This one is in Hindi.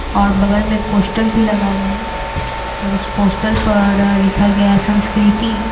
और बगल में एक पोस्टर भी लगा हुआ है और उस पोस्टर पर लिखा गया है संस्कृति--